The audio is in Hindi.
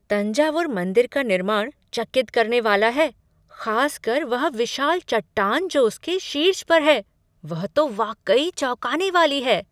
तंजावुर मंदिर का निर्माण चकित करने वाला है, खास कर वह विशाल चट्टान जो उसके शीर्ष पर है, वह तो वाकई चौंकाने वाली है।